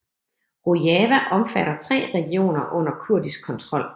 Rojava omfatter tre regioner under kurdisk kontrol